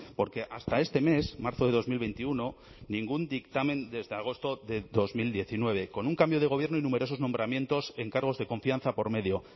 porque hasta este mes marzo de dos mil veintiuno ningún dictamen desde agosto de dos mil diecinueve con un cambio de gobierno y numerosos nombramientos en cargos de confianza por medio